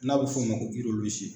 N'a bɛ f'o ma ko